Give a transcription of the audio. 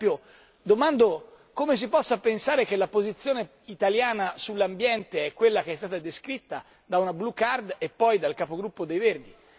Per esempio, domando come si possa pensare che la posizione italiana sull'ambiente è quella che è stata descritta da una blu card e poi dal capogruppo dei Verdi.